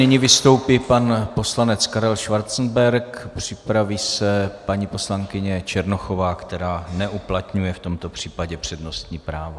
Nyní vystoupí pan poslanec Karel Schwarzenberg, připraví se paní poslankyně Černochová, která neuplatňuje v tomto případě přednostní právo.